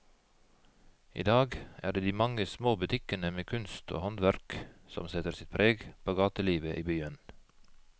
I dag er det de mange små butikkene med kunst og håndverk som setter sitt preg på gatelivet i byen.